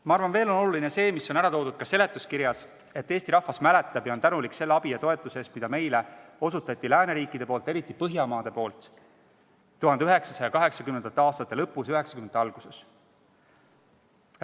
Ma arvan, et oluline on ka see, mida on öeldud seletuskirjas – see, et Eesti rahvas mäletab ja on tänulik abi ja toetuse eest, mida meile andsid lääneriigid, eriti Põhjamaad, 1980. aastate lõpus ja 1990. aastate alguses.